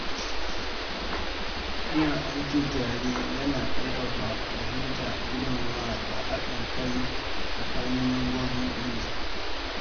Yin aiki tare ya na ƙarfafa fahimta, girmamawa da haɗin kai tsakanin mambobin ƙungiya.